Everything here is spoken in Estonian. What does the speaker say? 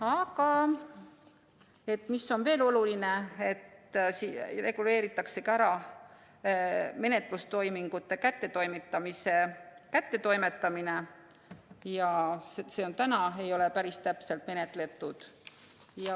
Aga veel on oluline, et reguleeritakse ära menetlusteadete kättetoimetamine, mis ei ole praegu päris täpselt reguleeritud.